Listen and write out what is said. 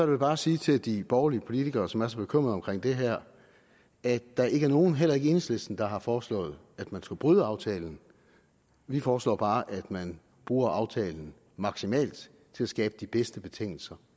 jeg bare sige til de borgerlige politikere som er så bekymret for det her at der ikke er nogen heller ikke i enhedslisten der har foreslået at man skal bryde aftalen vi foreslår bare at man bruger aftalen maksimalt til at skabe de bedste betingelser